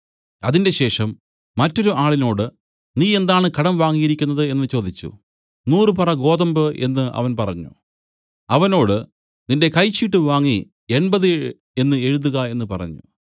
അതിന്‍റെശേഷം മറ്റൊരു ആളിനോട് നീ എന്താണ് കടം വാങ്ങിയിരിക്കുന്നത് എന്നു ചോദിച്ചു നൂറു പറ ഗോതമ്പു എന്നു അവൻ പറഞ്ഞു അവനോട് നിന്റെ കൈച്ചീട്ട് വാങ്ങി എൺപത് എന്നു എഴുതുക എന്നു പറഞ്ഞു